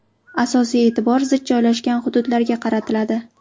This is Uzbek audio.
Asosiy e’tibor zich joylashgan hududlarga qaratiladi.